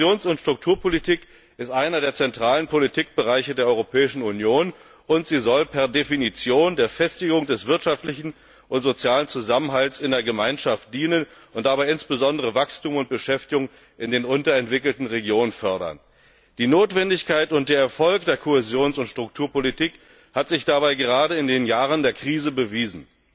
Die Kohäsions und Strukturpolitik ist einer der zentralen Politikbereiche der Europäischen Union und sie soll per Definition der Festigung des wirtschaftlichen und sozialen Zusammenhalts in der Gemeinschaft dienen und dabei insbesondere Wachstum und Beschäftigung in den unterentwickelten Regionen fördern. Die Notwendigkeit und der Erfolg der Kohäsions und Strukturpolitik hat sich dabei gerade in den Jahren der Krise bewiesen.